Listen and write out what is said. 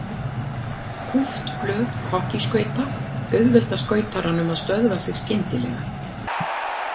Kúpt blöð hokkískauta auðvelda skautaranum að stöðva sig skyndilega.